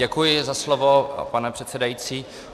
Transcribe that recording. Děkuji za slovo, pane předsedající.